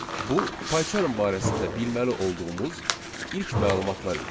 Bu PyCharm barəsində bilməli olduğumuz ilk məlumatlar idi.